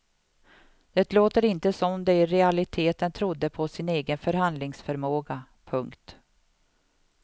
Det låter inte som om de i realiteten trodde på sin egen förhandlingsförmåga. punkt